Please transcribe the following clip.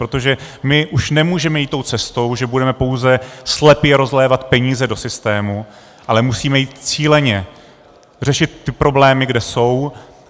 Protože my už nemůžeme jít tou cestou, že budeme pouze slepě rozlévat peníze do systému, ale musíme jít cíleně řešit ty problémy, kde jsou.